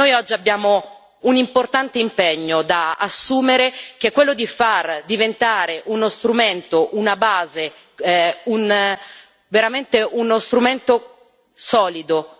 Noi oggi abbiamo un importante impegno da assumere, che è quello di far diventare uno strumento, una base, veramente uno strumento solido,